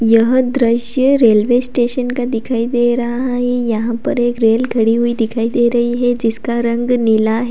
यह दृश्य railway station का दिखाई दे रहा है यहां पर एक रेल खड़ी हुई दिखाई दे रही है जिसका रंग नीला है।